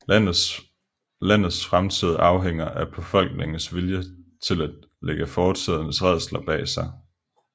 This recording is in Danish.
Landets fremtid afhænger af befolkningens vilje til at lægge fortidens rædsler bag sig